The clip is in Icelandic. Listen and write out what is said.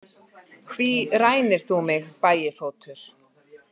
Hví rænir þú mig, Bægifótur?